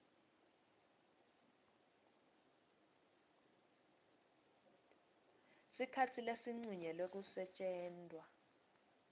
sikhatsi lesincunyelwe kusetjentwa